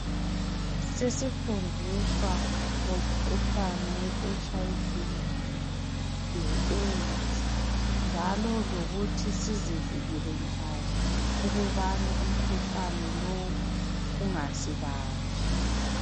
Sesifundiswa ngomkhuhlane weHIV leAIDS, njalo lokuthi sizivikele njani ukuba na lumkhuhlane lo ungasibambi.